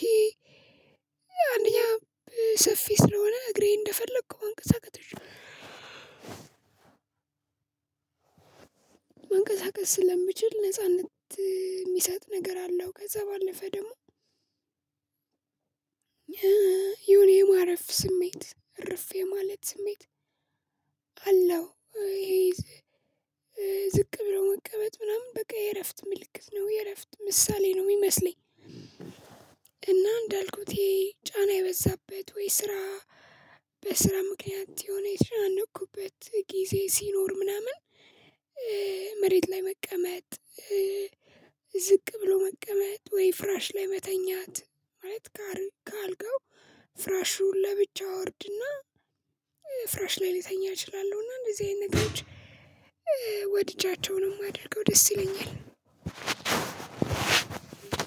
ይሄ አንደኛ ሰፊ ስለሆነ እግሬ እንደፈለኩ ማንቀሳቀሽ እች መንቀሳቀስ ስለምችል ነጻነት የሚሰጥ ነገር አለው። ከዛ ባለፈ ደግሞ የሆነ የማረፍ ስሜት እርፍ የማለት ስሜት አለው። ይሄ ዝቅ ብለው መቀመጥ ምናምን በቃ የእረፍት ምልክት ነው የእረፍት ምሳሌ ነው የሚመስለኝ። እና እንዳልኩት ይሄ ጫና የበዛበት ወይ ስራ በስራ ምክንያት የሆነ የተጨናነኩበት ጊዜ ሲኖር ምናምን መሬት ላይ መቀመጥ። ዝቅ ብሎ መቀመጥ ወይ ፍራሽ ላይ መተኛት ማለት ከአልጋው ፍራሹን ለብቻው አወርድና ፍራሽ ላይ ልተኛ እችላሁ። እና እንደዚህ አይነት ነገሮች ወድጃቸውን ነው ማደርገው ደስ ይለኛል። አዎ